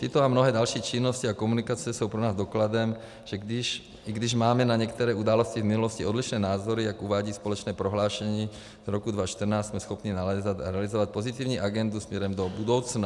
Tyto a mnohé další činnosti a komunikace jsou pro nás dokladem, že i když máme na některé události v minulosti odlišné názory, jak uvádí společné prohlášení z roku 2014, jsme schopni nalézat a realizovat pozitivní agendu směrem do budoucna.